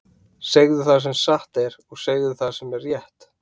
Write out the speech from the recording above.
Segðu það sem satt er, og segðu það sem er rétt!